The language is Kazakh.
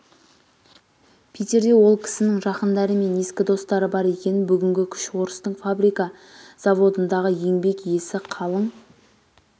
питерде ол кісінің жақындары және ескі достары бар екен бүгінгі күш орыстың фабрика-заводындағы еңбек иесі қалың